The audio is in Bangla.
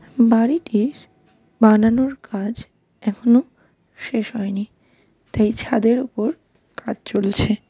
বাড়িটির বানানোর কাজ এখনো শেষ হয় নি তাই ছাদের ওপর কাজ চলছে .